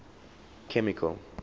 chemical